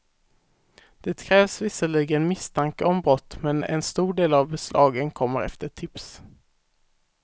Det krävs visserligen misstanke om brott, men en stor del av beslagen kommer efter tips.